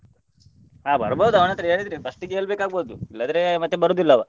ಹಾ ಬರ್ಬೋದು ಅವನತ್ರ ಹೇಳಿದ್ರೆ first ಇಗೆ ಹೇಳ್ಬೇಕಾಗ್ಬೋದು ಇಲ್ಲದ್ರೆ ಮತ್ತೆ ಬರುದಿಲ್ಲ ಅವಾ.